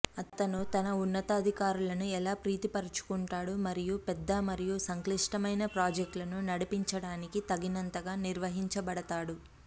అతను తన ఉన్నతాధికారులను ఎలా ప్రీతిపరచుకుంటాడు మరియు పెద్ద మరియు సంక్లిష్టమైన ప్రాజెక్టులను నడిపించడానికి తగినంతగా నిర్వహించబడతాడు